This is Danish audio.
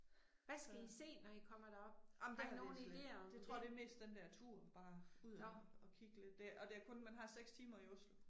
Så. Amen det har vi slet ikke, jeg tror det er mest den der tur bare ud og og kig lidt det og det er kun man har 6 timer i Oslo